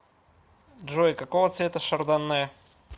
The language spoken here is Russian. джой какого цвета шардонне